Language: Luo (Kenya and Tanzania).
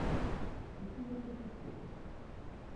uchinjo gwen e puothu?